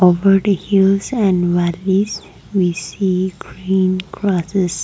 over the hills and what is we see green grassess